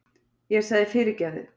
Ég sagði: Fyrirgefðu!